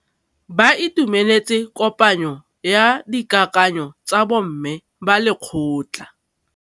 Ba itumeletse kôpanyo ya dikakanyô tsa bo mme ba lekgotla.